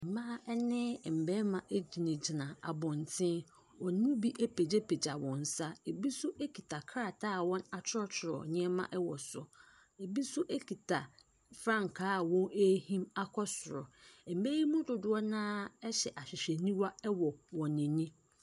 Ɛmmaa bi ne Ɛmmɛɛma egyina gyina abɔnten. Wɔnmu bi apagya pagya wɔn nsa ɛwɔ soro ebi so ekita kita krataa a wɔn atworɔtworɔ nneɛma ɛwɔ so. Ebi so ekita frankaa a wɔn ehim akɔ soro. Ɛmma yi mu dodoɔ naa ɛhyɛ ahwehwɛniwa ɛwɔ wɔn ani.